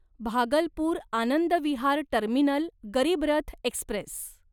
Bhagalpur Anand Vihar terminal Garib Rath Express